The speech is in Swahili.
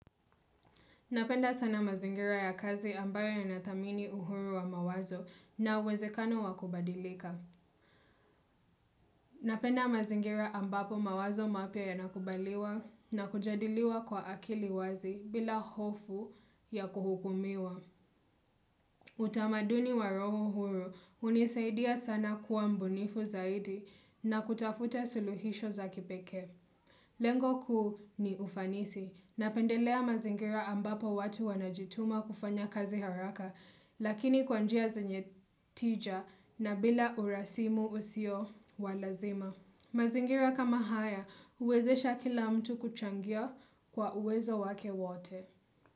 Napenda sana mazingira ya kazi ambayo yanathamini uhuru wa mawazo na uwezekano wakubadilika. Napenda mazingira ambapo mawazo mapya yanakubaliwa na kujadiliwa kwa akili wazi bila hofu ya kuhukumiwa. Utamaduni waroho huo hunisaidia sana kuwa mbunifu zaidi na kutafuta suluhisho za kipeke. Lengo kuu ni ufanisi na pendelea mazingira ambapo watu wanajituma kufanya kazi haraka lakini kwanjia zenye tija na bila urasimu usio walazima. Mazingira kama haya huwezesha kila mtu kuchangia kwa uwezo wake wote.